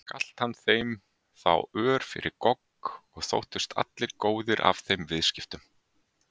Galt hann þeim þá ör fyrir gogg og þóttust allir góðir af þeim viðskiptum.